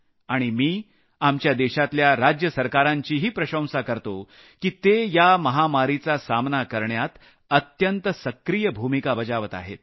आणि मी आपल्या देशातल्या राज्य सरकारांचीही प्रशंसा करतो की ते या महामारीचा सामना करण्यात अत्यंत सक्रिय भूमिका बजावत आहेत